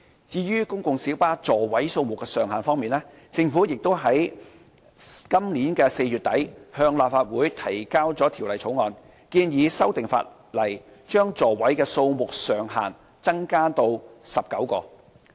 至於公共小巴座位數目的上限方面，政府已於本年4月底向立法會提交條例草案，建議修訂法例，將座位數目上限增至19個。